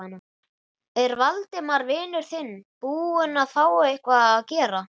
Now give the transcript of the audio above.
Er Valdimar vinur þinn búinn að fá eitthvað að gera?